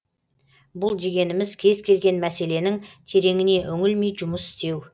бұл дегеніміз кез келген мәселенің тереңіне үңілмей жұмыс істеу